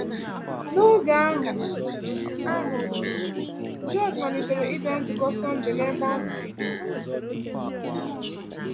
N’oge ahụ, ahụ, George malitere ịbịa nzukọ Sọndee n’ebe ahụ.